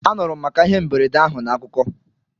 Anụrụ m maka ihe mberede ahụ na akụkọ